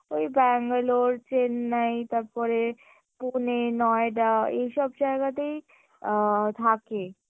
ওই Bangalore, Chennai তারপরে Pune, Noida এইসব জায়গাতেই আ থাকে